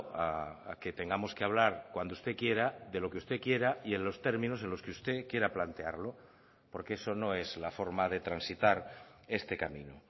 a que tengamos que hablar cuando usted quiera de lo que usted quiera y en los términos en los que usted quiera plantearlo porque eso no es la forma de transitar este camino